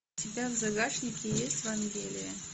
у тебя в загашнике есть вангелия